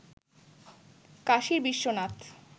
কাশীর Biswanath